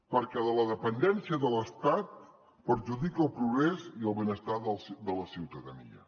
perquè la dependència de l’estat perjudica el progrés i el benestar de la ciutadania